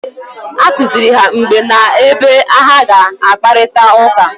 A kụziri ha mgbe na ebe ha ga-akparịta ụka?